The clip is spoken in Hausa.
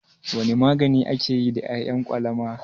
Wane magani ake yi da ƴaƴan kwalaba?